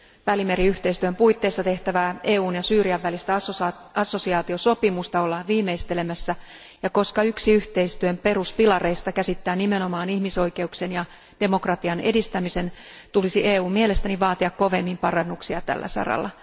Välimeriyhteistyön puitteissa tehtävää EUn ja Syyrian välistä assosiaatiosopimusta ollaan viimeistelemässä, ja koska yksi yhteistyön peruspilareista käsittää nimenomaan ihmisoikeuksien ja demokratian edistämisen, tulisi EUn mielestäni vaatia kovemmin parannuksia tällä saralla.